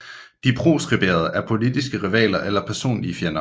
De proskriberede er politiske rivaler eller personlige fjender